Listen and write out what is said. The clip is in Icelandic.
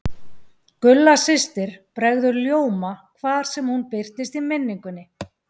Gulla systir bregður ljóma hvar sem hún birtist í minningunni.